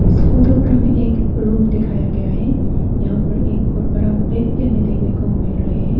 इस फोटो पर हमें एक रूम दिखाया गया है। यहां पर एक बहुत बड़ा बैग भी हमें देखने को मिल रहे हैं।